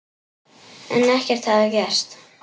En ekkert hafði gerst.